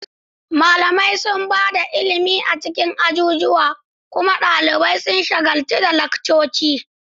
Malamai sun ba da ilimi a cikin ajujuwa, kuma ɗalibai sun shagaltu da laccoci.